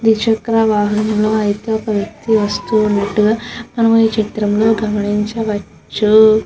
Three చెక్ర వాహనముల్లు అయతె ఒక విక్తి వస్తు వున్నాడు.